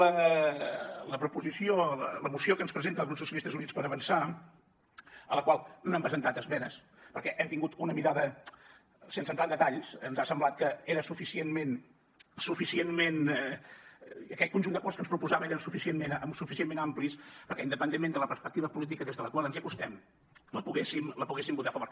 la proposició la moció que ens presenta el grup socialistes i units per avançar a la qual no hem presentat esmenes perquè hem tingut una mirada sense entrar en detalls ens ha semblat que aquell conjunt d’acords que ens proposava eren suficientment amplis perquè independentment de la perspectiva política des de la qual ens hi acostem la poguéssim poguessin votar a favor